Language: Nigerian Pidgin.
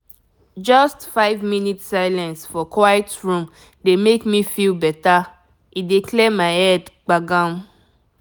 just five minute silence for quiet room dey make me feel better—e dey clear my head gbagam.